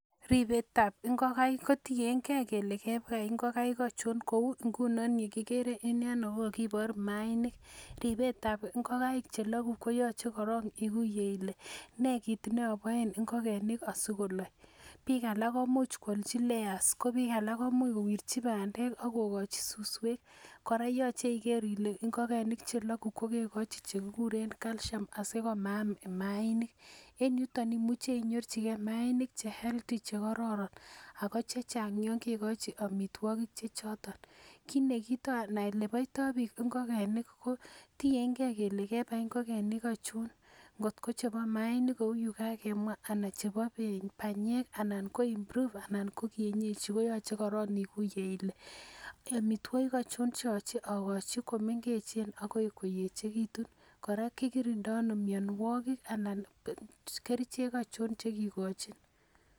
Ribetab ngokenik ko tiengei kole kebai ngokaik aichon. Kou nguno yu kigere eng yono kokakibor maainik. Ribetab ngokaik chelogu koyochei korok iguiye ile nee kit neaboen asikolok. Biik alak ko imuch koalchi layers ko biik alak komuch kowirchi bandek ak kokochi suswek. Kora koyochei iker ile ngokenik chelogu ko kekochi kit nekiguren calcium asikobit komaam maainik. En yutok imuche inyorchigei maainik che healthy che kororon. ako chechang yon kekochi amitwagik che choton. Kit ana kito oleboiton biik ngokenik ko tiengei kele kebai ngokaik aichon. Ngotko mchebo maainik kou yu kakemwa ana chebo panyek anan ko improved ana ko kienyej. Ko yochei iguiye ile amitwagik aichon che yochei agochi kongete komengech akoi koyekitu. kora kikirindoi ano mianwagik anan kerichek aichon chekikochin.